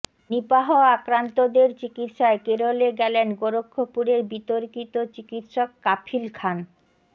Nipah আক্রান্তদের চিকিৎসায় কেরলে গেলেন গোরক্ষপুরের বিতর্কিত চিকিৎসক কাফিল খান